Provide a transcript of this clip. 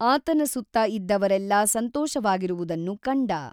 ಆತನ ಸುತ್ತ ಇದ್ದವರೆಲ್ಲಾ ಸಂತೋಷವಾಗಿರುವುದನ್ನು ಕಂಡ.